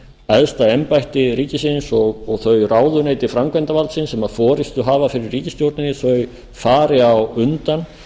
æðsta embætti ríkisins og þau ráðuneyti framkvæmdarvaldsins sem forustu hafa fyrir ríkisstjórninni fari á undan